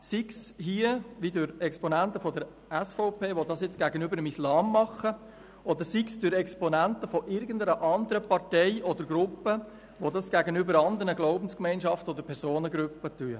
Sei dies wie in diesem Fall durch Exponenten der SVP, die das gegenüber dem Islam machen, oder sei es durch Exponenten irgendeiner anderen Partei oder Gruppe, die das gegenüber anderen Glaubensgemeinschaften oder Personengruppen tun.